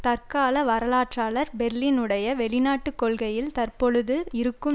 தற்கால வரலாற்றாளர் பேர்லினுடைய வெளிநாட்டு கொள்கையில் தற்பொழுது இருக்கும்